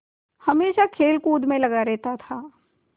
हमेशा खेलकूद में लगा रहता था